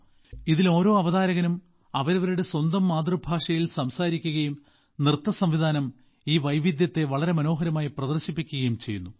ഇതിൽ ഓരോ അവതരാകനും അവരവരുടെ സ്വന്തം മാതൃഭാഷയിൽ സംസാരിക്കുകയും നൃത്തസംവിധാനം ഈ വൈവിധ്യത്തെ വളരെ മനോഹരമായി പ്രദർശിപ്പിക്കുയും ചെയ്യുന്നു